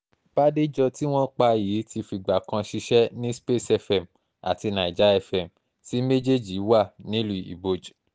bàdéjọ tí wọ́n pa yìí ti fìgbà kan ṣiṣẹ́ ní space fm àti nàìjà fm tí méjèèjì wà nílùú iboj